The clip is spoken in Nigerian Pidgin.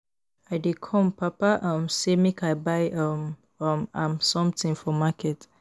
I dey come papa um sey make I buy um um am something for market